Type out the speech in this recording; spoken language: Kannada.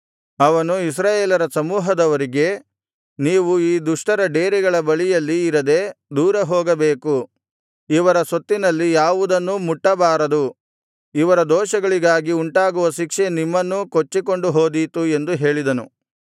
ಅವನು ಇಸ್ರಾಯೇಲರ ಸಮೂಹದವರಿಗೆ ನೀವು ಈ ದುಷ್ಟರ ಡೇರೆಗಳ ಬಳಿಯಲ್ಲಿ ಇರದೆ ದೂರ ಹೋಗಬೇಕು ಇವರ ಸೊತ್ತಿನಲ್ಲಿ ಯಾವುದನ್ನೂ ಮುಟ್ಟಬಾರದು ಇವರ ದೋಷಗಳಿಗಾಗಿ ಉಂಟಾಗುವ ಶಿಕ್ಷೆ ನಿಮ್ಮನ್ನೂ ಕೊಚ್ಚಿಕೊಂಡು ಹೋದೀತು ಎಂದು ಹೇಳಿದನು